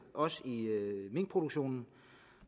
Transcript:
også i minkproduktionen